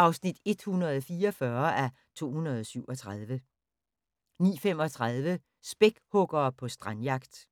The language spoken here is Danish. (144:237) 09:35: Spækhuggere på strandjagt